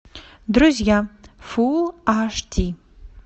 друзья фулл аш ди